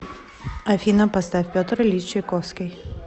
афина поставь петр ильич чайковский